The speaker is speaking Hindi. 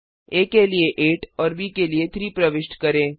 आ के लिए 8 और ब के लिए 3 प्रविष्ट करें